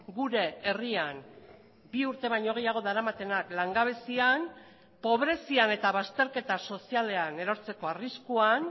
gure herrian bi urte baino gehiago daramatenak langabezian pobrezian eta bazterketa sozialean erortzeko arriskuan